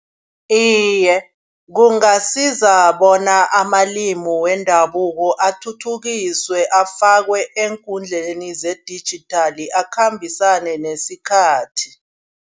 Iye kungasiza bona amalimi wendabuko athuthukiswe. Afakwe eenkhundleni zedijithali akhambisane nesikhathi.